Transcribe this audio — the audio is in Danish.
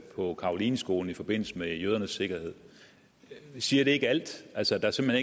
på carolineskolen i forbindelse med jødernes sikkerhed siger det ikke alt altså at der simpelt